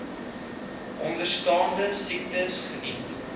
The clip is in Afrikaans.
onderstaande siektes geniet